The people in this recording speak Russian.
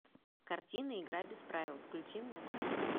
картина игра без правил включи мне